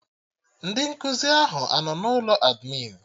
Ndị nkụzi ahụ anọ na ụlọ admịn?